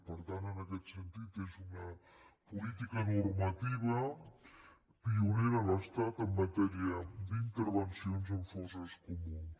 per tant en aquest sentit és una política normativa pionera a l’estat en matèria d’intervencions en fosses comunes